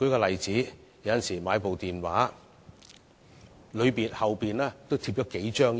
例如，手提電話的背面也貼上數張標籤。